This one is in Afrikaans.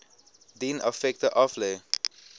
dien effekte aflê